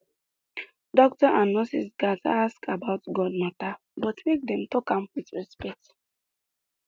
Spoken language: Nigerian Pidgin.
doctor and nurse gatz ask about god matter but make dem talk am with respect